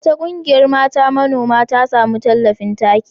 Wata ƙungiyar mata manoma ta sami tallafin taki.